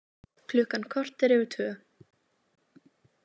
Klukkan korter yfir tvö